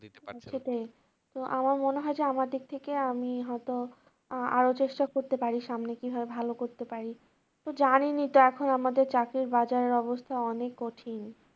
আমার মনে হয় যে আমার দিক থেকে আমি হয়তো আরো চেষ্টা করতে পারি সামনে কিভাবে ভালো করতে পারি তো জানেনই তো এখন আমাদের চাকরির বাজারের অবস্থা অনেক কঠিন।